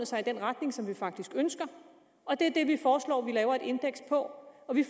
sig i den retning som vi faktisk ønsker og det er det vi foreslår vi laver et indeks på og vi